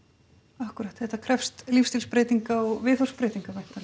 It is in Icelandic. akkúrat þetta krefst lífsstílsbreytinga og viðhorfsbreytinga væntanlega